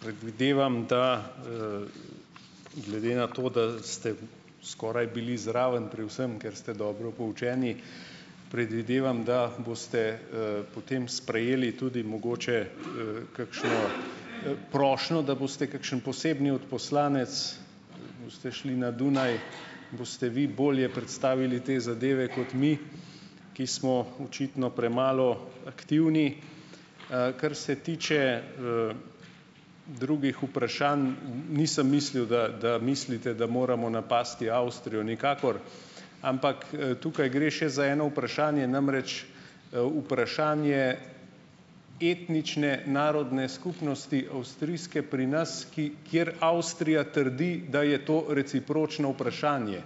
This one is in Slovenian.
Predvidevam, da, glede na to, da ste skoraj bili zraven pri vsem, ker ste dobro poučeni, predvidevam, da boste, potem sprejeli tudi mogoče, kakšno, prošnjo, da boste kakšen posebni odposlanec, ste šli na Dunaj, boste vi bolje predstavili te zadeve kot mi, ki smo očitno premalo aktivni. Kar se tiče, drugih vprašanj, nisem mislil, da da mislite, da moramo napasti Avstrijo, nikakor, ampak, tukaj gre še za eno vprašanje. Namreč, vprašanje etnične narodne skupnosti avstrijske pri nas, ki kjer Avstrija trdi, da je to recipročno vprašanje.